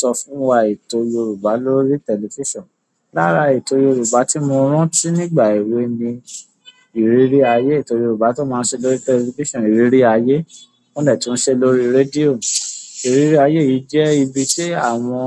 Sọ fún wa ètò Yorùbá lórí tẹlifísàn. Lára ètò Yorùbá tí mo rántí nígbà èwe mi ètò Yorùbá t'ọ́n máa ṣe lórí tẹlifíṣọ̀nù ìrírí aye. Wọ́n dẹ̀ tún ń ṣeé lórí rédíò. Ìrírí ayé yìí jẹ́ ibi tí àwọn